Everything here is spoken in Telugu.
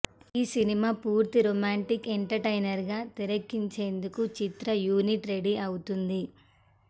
ఈ సినిమా పూర్తి రొమాంటిక్ ఎంటర్టైనర్గా తెరకెక్కించేందుకు చిత్ర యూనిట్ రెడీ అవుతోంది